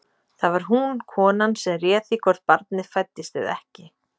Það var hún, konan, sem réð því hvort barnið fæddist eða ekki.